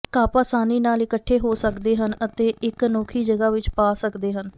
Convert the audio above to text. ਘੱਪ ਆਸਾਨੀ ਨਾਲ ਇਕੱਠੇ ਹੋ ਸਕਦੇ ਹਨ ਅਤੇ ਇੱਕ ਅਨੋਖੀ ਜਗ੍ਹਾ ਵਿੱਚ ਪਾ ਸਕਦੇ ਹਨ